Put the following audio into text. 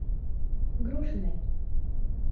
грушиной